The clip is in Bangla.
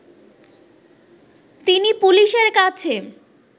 তিনি পুলিশের কাছে